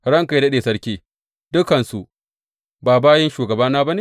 Ranka yă daɗe sarki, dukansu ba bayin shugabana ba ne?